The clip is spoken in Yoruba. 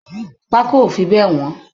Pako ó fi bẹ wọn